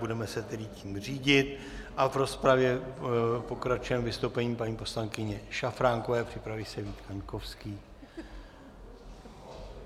Budeme se tedy tím řídit a v rozpravě pokračujeme vystoupením paní poslankyně Šafránkové, připraví se Vít Kaňkovský.